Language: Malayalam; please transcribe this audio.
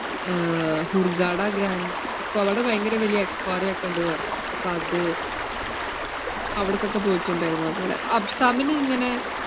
ഏർ ഹൂർഗാഡ ഗ്രാൻ~ എക്കോ~ അവിടെ ഭയങ്കര വലിയ aquarium ഒക്കെ ഇണ്ടെന്ന് പറഞ്ഞു, അപ്പോ അത് അവിടക്കൊക്കെ പോയിട്ടിണ്ടായിരുന്നു അതുപോലെ. അഫ്‌സാമിന് ഇങ്ങനെ